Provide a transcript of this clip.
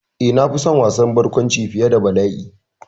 Eh, na fi son wasan barkwanci fiye da bala'i.